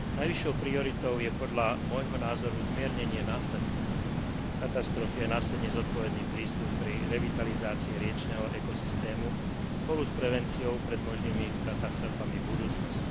Najvyššou prioritou je podľa môjho názoru zmiernenie následkov katastrofy a následne zodpovedný prístup pri revitalizácii riečneho ekosystému spolu s prevenciou pred možnými katastrofami v budúcnosti.